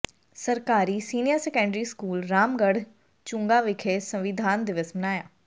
ਸਰਕਾਰੀ senior secondary school Ramgarh Chunghan ਵਿਖੇ ਸੰਵਿਧਾਨ ਦਿਵਸ ਮਨਾਇਆ